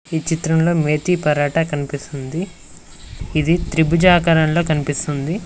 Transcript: ఈ చిత్రంలో మేతి పరాటా కనిపిస్తుంది ఇది ట్రిబూజా ఆకారంలో కనిపిస్తుంది.